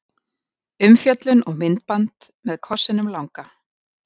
Umfjöllun og myndband með kossinum langa